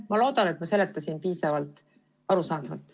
Ma loodan, et seletasin piisavalt arusaadavalt.